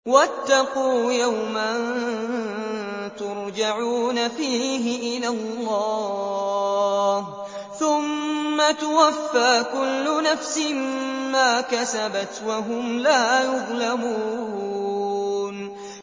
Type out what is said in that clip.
وَاتَّقُوا يَوْمًا تُرْجَعُونَ فِيهِ إِلَى اللَّهِ ۖ ثُمَّ تُوَفَّىٰ كُلُّ نَفْسٍ مَّا كَسَبَتْ وَهُمْ لَا يُظْلَمُونَ